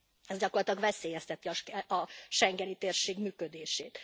Ez gyakorlatilag veszélyezteti a schengeni térség működését.